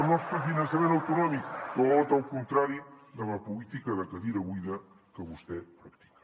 nostre finançament autonòmic tot el contrari de la política de cadira buida que vostè practica